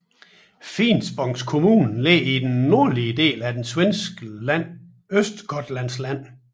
Finspångs kommun ligger i den nordlige del af det svenske län Östergötlands län